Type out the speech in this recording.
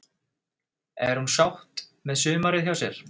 Er hún sátt með sumarið hjá sér?